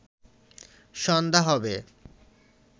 সন্ধ্যা হবে